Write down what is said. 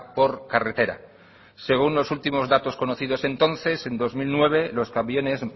por carretera según los últimos datos conocidos entonces en dos mil nueve los camiones